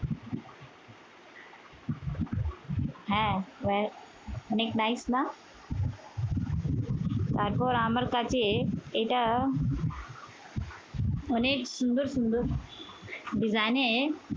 হ্যা অনেক nice না? তারপর আমার কাছে এটা অনেক সুন্দর সুন্দর design এ